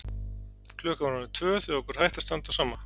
Klukkan var orðin tvö þegar okkur hætti að standa á sama.